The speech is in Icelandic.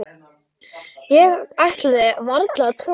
Ég ætlaði varla að trúa þessu.